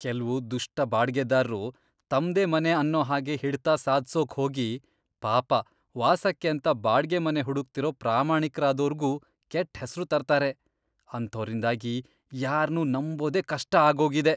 ಕೆಲ್ವು ದುಷ್ಟ ಬಾಡ್ಗೆದಾರ್ರು ತಮ್ದೇ ಮನೆ ಅನ್ನೋ ಹಾಗೆ ಹಿಡ್ತ ಸಾಧ್ಸೋಕ್ ಹೋಗಿ ಪಾಪ ವಾಸಕ್ಕೇಂತ ಬಾಡ್ಗೆ ಮನೆ ಹುಡುಕ್ತಿರೋ ಪ್ರಾಮಾಣಿಕ್ರಾದೋರ್ಗೂ ಕೆಟ್ಟ್ ಹೆಸ್ರು ತರ್ತಾರೆ, ಅಂಥೋರಿಂದಾಗಿ ಯಾರ್ನೂ ನಂಬೋದೇ ಕಷ್ಟ ಆಗೋಗಿದೆ.